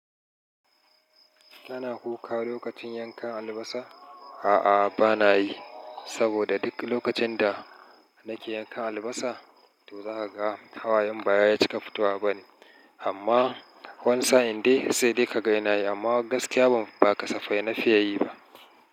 Kana kuka lokacin yanka albasa? A'a bana yi, saboda duk lokacin da nake yanka albasa toh za ka ga hawayen ba ya cika fitowa bane amma wani sa in dai sai dai ka ga ina yi amma gaskiya ba kasafai na fiya yi ba.